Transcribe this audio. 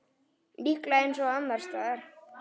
Líklega eins og annars staðar.